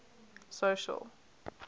social